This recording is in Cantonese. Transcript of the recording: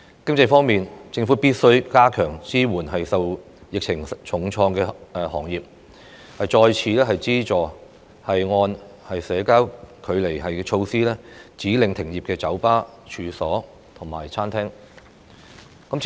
經濟方面，政府必須加強支援受疫情重創的行業，再次資助因社交距離措施而被指令停業的酒吧、餐廳和各式處所。